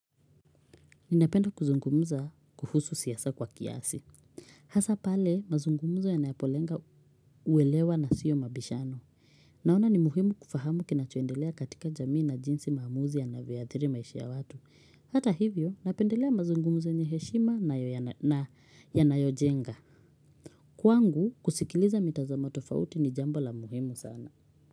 Ninapenda kuzungumza kuhusu siasa kwa kiasi. Hasa pale mazungumzo yanapolenga uwelewa na sio mabishano. Naona ni muhimu kufahamu kinachoendelea katika jamii na jinsi maamuzi ya navyadhiri maisha ya watu. Hata hivyo napendelea mazungumzo yenye heshima na yanayojenga. Kwangu kusikiliza mitazamo tofauti ni jambo la muhimu sana.